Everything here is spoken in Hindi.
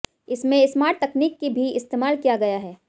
इसमें स्मार्ट तकनीक की भी इस्तेमाल किया गया है